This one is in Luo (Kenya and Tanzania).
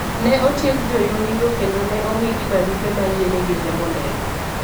Ne otieg joyundigo kendo ne omigi barupe ma yienegi riembo ndege.